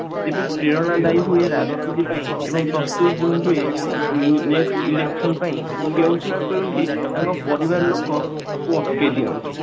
ଯେବେ ପ୍ରେରଣା ହୁଏ ରାଜନୀତି ପାଇଁ ଏବଂ ଉଁ next election ପାଇଁ କେଉଁଠି ନା କେଉଁଠି ତାଙ୍କ ପରିବାର ଲୋକ ତାକୁ ଅଟକେଇ ଦିଅନ୍ତି